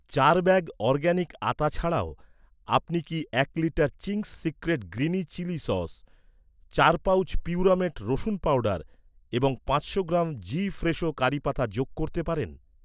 চার bag organic আতা ছাড়াও, আপনি কি এক litre Ching's Secret green chilli sauce, চার পাউচ পিউরামেট রসুন পাউডার এবং পাঁচশো গ্রাম জি ফ্রেশো কারি পাতা যোগ করতে পারেন?